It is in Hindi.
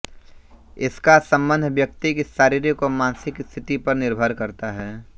इसका सम्बन्ध व्यक्ति की शारीरिक व मानसिक स्थिति पर निर्भर करता है